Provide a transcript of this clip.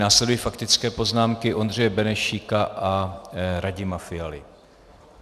Následují faktické poznámky Ondřeje Benešíka a Radima Fialy.